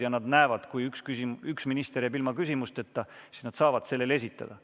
Ja kui on näha, et üks minister jääb ilma küsimusteta, siis saab temaltki küsida.